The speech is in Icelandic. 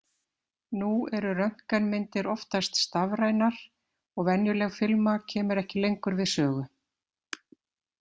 Nú eru röntgenmyndir oftast stafrænar og venjuleg filma kemur ekki lengur við sögu.